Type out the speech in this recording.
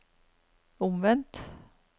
omvendt